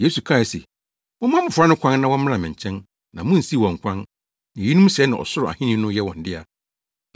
Yesu kae se, “Momma mmofra no kwan na wɔmmra me nkyɛn, na munnsiw wɔn kwan, na eyinom sɛɛ na Ɔsoro Ahenni no yɛ wɔn dea.”